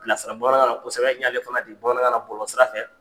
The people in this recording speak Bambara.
Bilasira bamanankan na kosɛbɛ, n y'ala fana bila sira bamanankan na bɔlɔlɔsira fɛ.